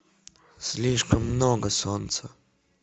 слишком много солнца